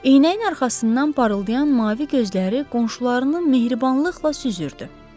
Eynəyin arxasından parıldayan mavi gözləri qonşularını mehribanlıqla süzürdü.